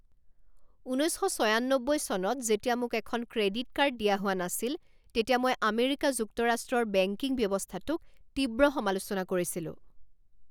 ঊনৈছ শ ছয়ান্নব্বৈ চনত যেতিয়া মোক এখন ক্ৰেডিট কাৰ্ড দিয়া হোৱা নাছিল তেতিয়া মই আমেৰিকা যুক্তৰাষ্ট্ৰৰ বেংকিং ব্যৱস্থাটোক তীব্ৰ সমালোচনা কৰিছিলোঁ।